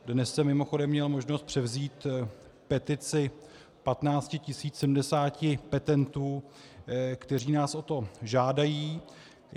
Dnes jsem mimochodem měl možnost převzít petici 15 070 petentů, kteří nás o to žádají.